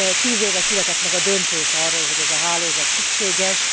10 éve született meg a döntés arról, hogy ez a hálózat szükséges.